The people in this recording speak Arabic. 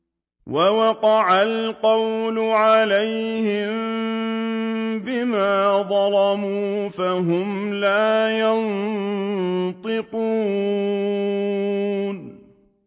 وَوَقَعَ الْقَوْلُ عَلَيْهِم بِمَا ظَلَمُوا فَهُمْ لَا يَنطِقُونَ